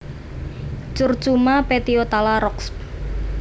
Curcuma petiolata Roxb